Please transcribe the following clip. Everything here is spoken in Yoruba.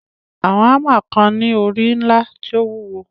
Àwọn hámà kan ni ori ńlá tí ó wúwo.